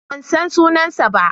Ban san sunansa ba.